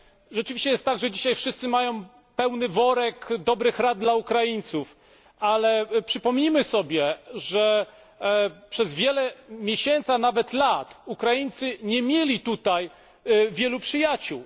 Rzeczywiście jest tak, że dzisiaj wszyscy mają pełny worek dobrych rad dla Ukraińców. Przypomnijmy sobie, że przez wiele miesięcy, a nawet lat, Ukraińcy nie mieli tutaj wielu przyjaciół.